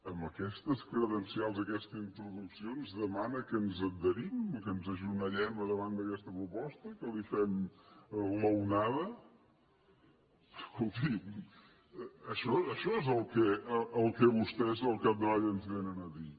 amb aquestes credencials aquesta introducció ens demana que ens adherim i que ens agenollem a davant d’aquesta proposta que li fem l’onada escolti això és el que vostès al capdavall ens vénen a dir